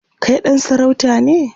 Kai ɗan sarauta ne?